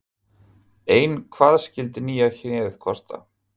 Ein hvað skyldi nýja hnéð kosta?